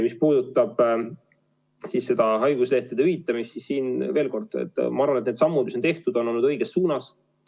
Mis puudutab haiguslehtede hüvitamist, siis veel kord: ma arvan, et need sammud, mis on tehtud, on olnud õiges suunas.